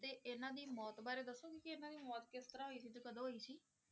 ਤੇ ਇਹਨਾਂ ਦੀ ਮੌਤ ਬਾਰੇ ਦੱਸੋਗੇ ਕਿ ਇਹਨਾਂ ਦੀ ਮੌਤ ਕਿਸ ਤਰ੍ਹਾਂ ਹੋਈ ਸੀ ਤੇ ਕਦੋਂ ਹੋਈ ਸੀ?